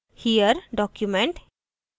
* here document